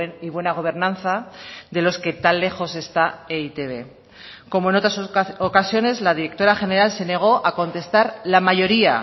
y buena gobernanza de los que tan lejos está e i te be como en otras ocasiones la directora general se negó a contestar la mayoría